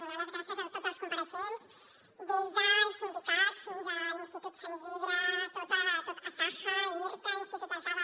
donar les gràcies a tots els compareixents des dels sindicats fins a l’institut sant isidre asaja irta institut del cava